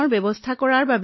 ই ৰোগীৰ অৱস্থা বেয়া কৰে